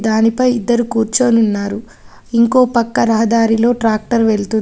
దానిపై ఇద్దరు కూర్చొన్నున్నారు ఇంకో పక్క రహదారిలో ట్రాక్టర్ వెళ్తుంది.